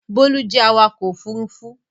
Bólú jẹ́ awakọ̀ ófurufú